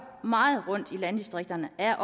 meget rundt i landdistrikterne er